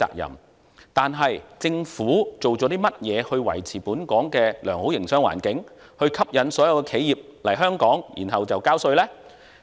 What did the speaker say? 然而，政府做了甚麼去維持本港的良好營商環境，以吸引所有企業來香港，然後交稅呢？